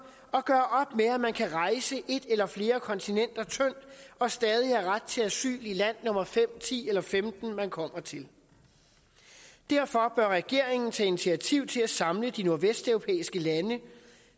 og gøre med at man kan rejse et eller flere kontinenter tyndt og stadig havde ret til asyl i land nummer fem ti eller femten man kommer til derfor bør regeringen tage initiativ til at samle de nordvesteuropæiske lande